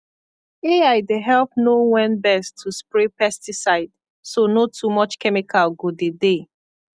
ai dey help know when best to spray pesticide so no too much chemical go dey dey